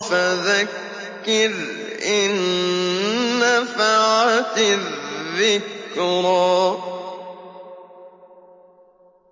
فَذَكِّرْ إِن نَّفَعَتِ الذِّكْرَىٰ